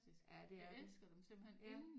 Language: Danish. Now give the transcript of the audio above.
Ja det er de ja